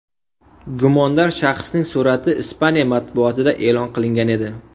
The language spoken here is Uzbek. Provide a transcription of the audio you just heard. Gumondor shaxsning surati Ispaniya matbuotida e’lon qilingan edi .